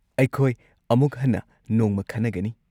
ꯑꯩꯈꯣꯏ ꯑꯃꯨꯛ ꯍꯟꯅ ꯅꯣꯡꯃ ꯈꯟꯅꯒꯅꯤ꯫